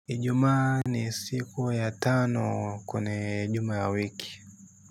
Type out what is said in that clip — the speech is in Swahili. Ijumaa ni siku ya tano kune juma ya wiki.